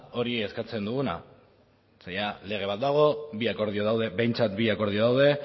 hori eskatzen duguna zeren lege bat dago bi akordio daude behintzat bi akordio daude